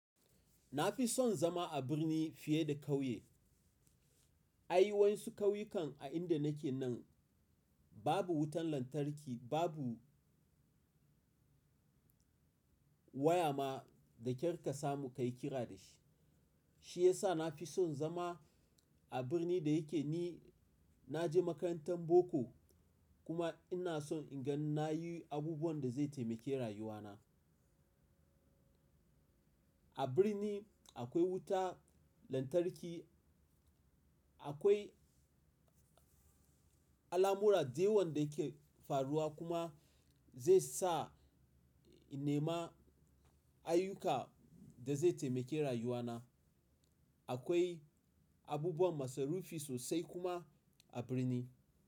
Na fi son zama a birni fiye da ƙauye. Ai wani ƙauyukan a inda nake nan babu wutan lantarki, babu waya ma da kyar ka samu ka yi kira da shi. Shi ya sa na fi son zama a birni da yake ni na je makarantar boko kuma ina son in ga na yi abubuwan da zai taimake rayuwana. A birni akwai wuta, lantarki, akwai alamura dayawan da ke faruwa kuma zai sa in nema ayyuka da zai taimake rayuwana. Akwai abubuwan masarufi sosai kuma a birni.